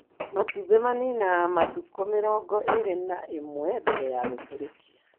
Matumbĩ maninaga matukũ mĩrongo ĩrĩ na rĩmwe mbere ya gũtũrĩkia.